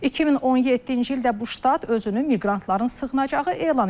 2017-ci ildə bu ştat özünü miqrantların sığınacağı elan edib.